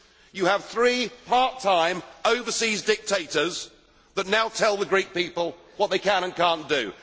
You have three part time overseas dictators that now tell the Greek people what they can and cannot do.